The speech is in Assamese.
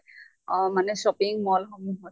অʼ মানে shopping mall সমুহত।